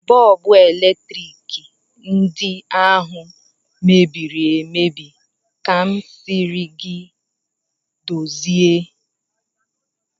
Bọlbụ eletrik ndị ahụ mebiri emebi ka m sịrị gị dozie